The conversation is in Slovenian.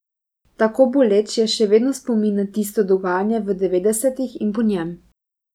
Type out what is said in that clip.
Tako boleč je še vedno spomin na tisto dogajanje v devetdesetih in po njem.